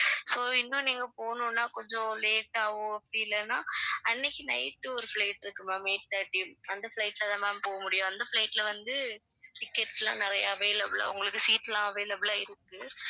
so இன்னும் நீங்க போகணும்னா கொஞ்சம் late ஆவோ அப்படி இல்லன்னா அன்னைக்கு night ஒரு flight இருக்கு ma'am eight thirty அந்த flight ல தான் ma'am போக முடியும் அந்த flight ல வந்து tickets லாம் நிறையா available ஆ உங்களுக்கு seat லாம் available ஆ இருக்கு